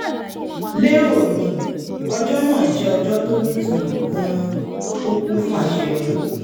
lero mi ọjọ́ náà jẹ́ ọjọ́ tó nítumọ̀ gan-an ó kún fún àṣeyọrí